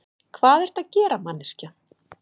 Hvað ertu að gera, manneskja?